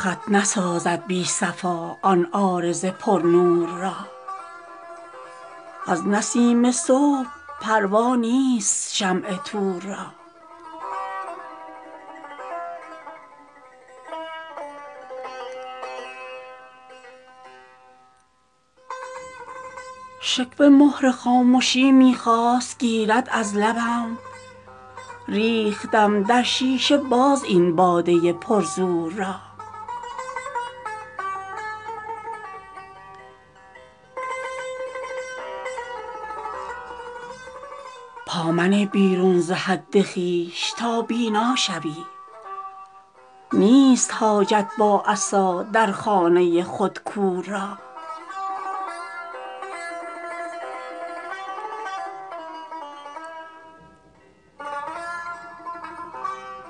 خط نسازد بی صفا آن عارض پر نور را از نسیم صبح پروا نیست شمع طور را شکوه مهر خاموشی می خواست گیرد از لبم ریختم در شیشه باز این باده پر زور را پا منه بیرون ز حد خویش تا بینا شوی نیست حاجت با عصا در خانه خود کور را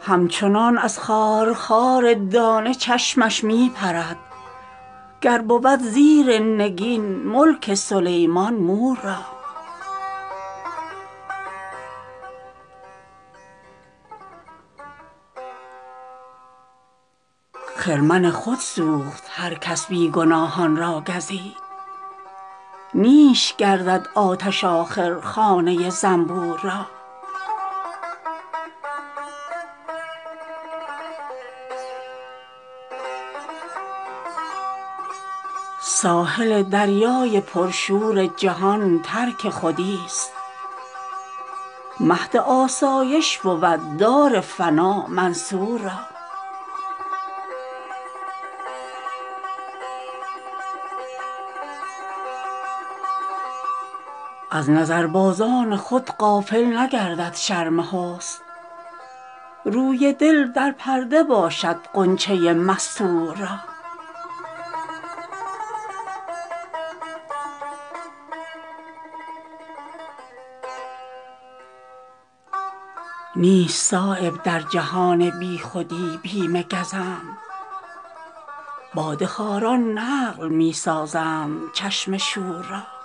همچنان از خار خار دانه چشمش می پرد گر بود زیر نگین ملک سلیمان مور را خرمن خود سوخت هر کس بی گناهان را گزید نیش گردد آتش آخر خانه زنبور را ساحل دریای پر شور جهان ترک خودی است مهد آسایش بود دار فنا منصور را از نظربازان خود غافل نگردد شرم حسن روی دل در پرده باشد غنچه مستور را نیست صایب در جهان بی خودی بیم گزند باده خواران نقل می سازند چشم شور را